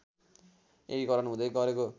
एकीकरण हुदै गरेको